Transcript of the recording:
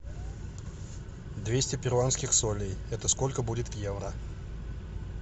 двести перуанских солей это сколько будет в евро